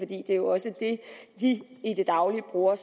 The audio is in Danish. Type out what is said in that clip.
det er jo også det de i det daglige bruger